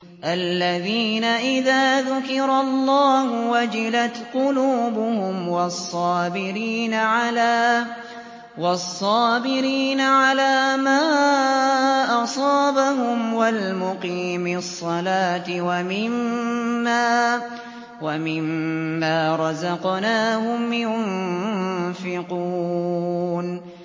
الَّذِينَ إِذَا ذُكِرَ اللَّهُ وَجِلَتْ قُلُوبُهُمْ وَالصَّابِرِينَ عَلَىٰ مَا أَصَابَهُمْ وَالْمُقِيمِي الصَّلَاةِ وَمِمَّا رَزَقْنَاهُمْ يُنفِقُونَ